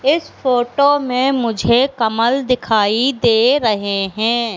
इस फोटो में मुझे कमल दिखाई दे रहे हैं।